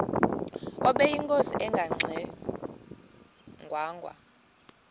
ubeyinkosi engangxe ngwanga